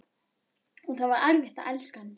Og það var erfitt að elska hann.